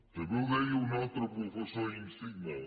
també ho deia un altre professor insigne